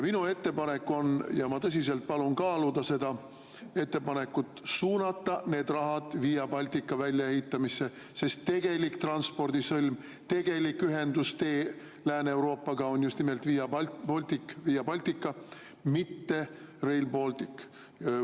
Minu ettepanek on – ja ma tõsiselt palun seda ettepanekut kaaluda – suunata need rahad Via Baltica väljaehitamisse, sest tegelik transpordisõlm, tegelik ühendustee Lääne-Euroopaga on just nimelt Via Baltica, mitte Rail Baltic.